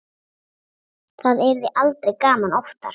Það yrði aldrei gaman oftar.